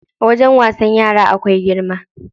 Wajen wasan yara akwai girma.